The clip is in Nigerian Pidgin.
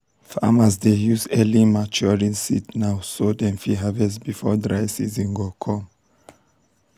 farmers dey use early maturing seeds now so dem fit harvest before dry season go come.